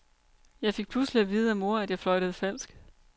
Jeg fik pludselig at vide af mor, at jeg fløjtede falsk.